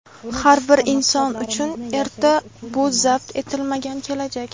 Har bir inson uchun erta — bu zabt etilmagan kelajak.